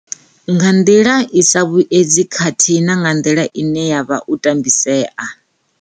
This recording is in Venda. Nga nḓila i sa vhuedzi khathihi na nga nḓila ine a vha o tambisea.